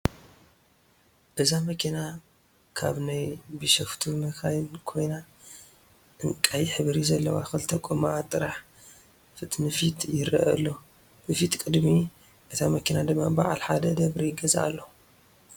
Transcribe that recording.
እዛ መኪና ካብ ናይ ቢሸፍቱ መካይን ኮይና ዕንቀይ ሕብሪ ዘለዋ ክልተ ጎማኣ ጥራሕ ፊትንፊት የረአ አሎ፡፡ ብፊት ቅድሚ እታ መኪና ድማ በዓል ሓደ ደብሪ ገዛ አሎ፡፡